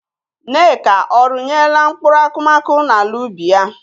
Nneka ọ rụnyela mkpụrụ akụmakụ n'ala ubi ya?